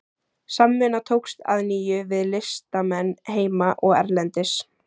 Samvinna tókst að nýju við listamenn heima og erlendis.